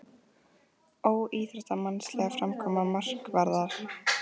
Óíþróttamannsleg framkoma markvarðar?